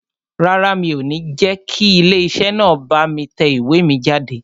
Rárá, mi ò ní jẹ́ kí ilé iṣẹ́ náà bá mi tẹ ìwé mi jáde